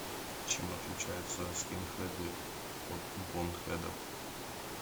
чем отличаются скинхеды от бонхедов